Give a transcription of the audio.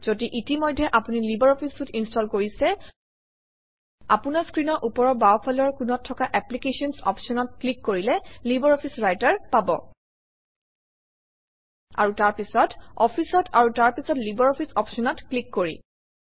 যদি ইতিমধ্যে আপুনি লাইব্ৰঅফিছ চুইতে ইনষ্টল কৰিছে আপোনাৰ স্ক্ৰীনৰ ওপৰৰ বাওঁফালৰ কোণত থকা এপ্লিকেশ্যনছ অপশ্যনত ক্লিক কৰিলে লাইব্ৰঅফিছ ৰাইটাৰ পাব আৰু তাৰপিছত Office অত আৰু তাৰ পিছত লাইব্ৰঅফিছ অপশ্যনত ক্লিক কৰি